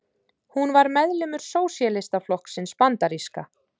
Hún var meðlimur Sósíalistaflokksins bandaríska.